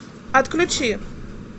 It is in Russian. отключи